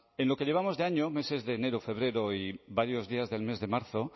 en lo que llevamos de año meses de enero febrero y varios días del mes de marzo